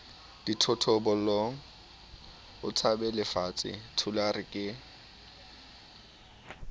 dithotobolong o tshabelefatshe thulare ke